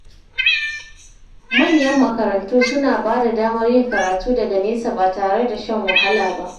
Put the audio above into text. Manyan makarantu suna ba da damar yin karatu daga nesa ba tare da shan wahala ba.